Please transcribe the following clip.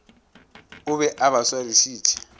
o be a ba swarišitše